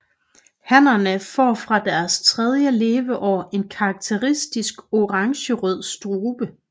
Hannerne får fra deres tredje leveår en karakteristisk orangerød strube